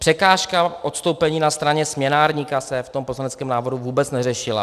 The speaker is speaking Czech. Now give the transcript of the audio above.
Překážka odstoupení na straně směnárníka se v tom poslaneckém návrhu vůbec neřešila.